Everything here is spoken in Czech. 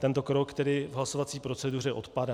Tento krok tedy v hlasovací proceduře odpadá.